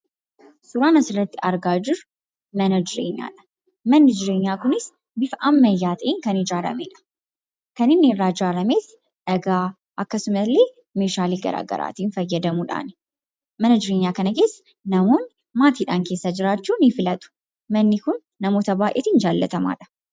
Suuraan asii gaditti arginu suuraa manaadha. Manni jireenyaa kunis bifa ammayyaa ta'een kan ijaarameedha. Kan inni irraa ijaarames dhagaa akkasumas meeshaalee garaagaraatiin fayyadamuudhaani. Mana jireenyaa kana keessa maatiidhaan keessa jiraachuu filatu. Manni kun namoota baay'een jaallatamaadha.